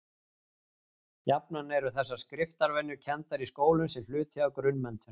Jafnan eru þessar skriftarvenjur kenndar í skólum sem hluti af grunnmenntun.